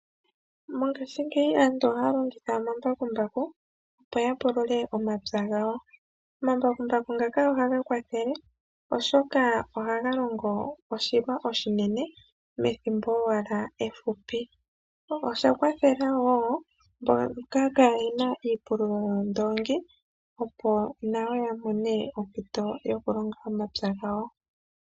Mongaashingeyi aantu ohaya longitha omambakumbaku opo ya pulule omapya gawo. Omambakumbaku ngaka ohaga kwathele oshoka ohaga longo oshilwa oshinene methimbo owala efupi. Osha kwathele woo mboka kaayena iipululo yoondoongi opo nayo ya mone ompito yokulonga omapya gawo.